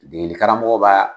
Degeli karamɔgɔ b'a